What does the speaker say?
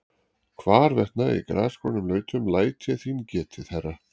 Hvarvetna í grasgrónum lautum læt ég þín getið, herra.